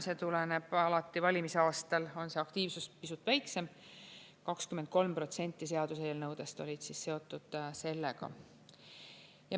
See tuleneb sellest, et alati valimisaastal on see aktiivsus pisut väiksem, 23% seaduseelnõudest olid seotud sellega.